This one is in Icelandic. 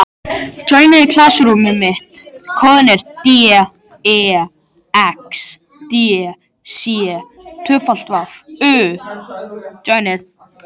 en hún bærði ekki á sér.